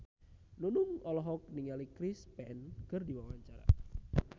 Nunung olohok ningali Chris Pane keur diwawancara